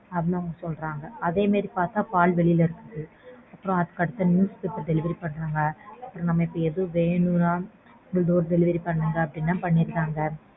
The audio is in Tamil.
அப்படின்னு சொன்னாங்க. அதே மாறி பார்த்தா பால் வெளில இருக்கு. அதுக்கடுத்து newspaper delivery பண்ணாங்க. நமக்கு எது வேணும்னாலும் door delivery பண்ணுங்கன்னா பண்ணிட்டாங்க.